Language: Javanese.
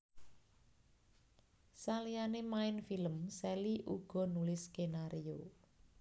Saliyané main film Sally uga nulis skenario